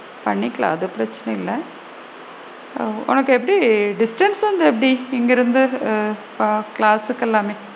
பண்ணிக்கலாம் அது பிரச்சனை இல்ல ஓ! உனக்கு எப்படி distance வந்து எப்படி இங்க இருந்து class கு எல்லாமே?